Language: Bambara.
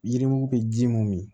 Yirimugu bɛ ji mun min